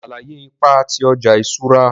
Sàlàyé ipa ti ọja iṣura.